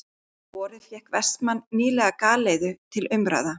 Um vorið fékk Vestmann nýlega galeiðu til umráða.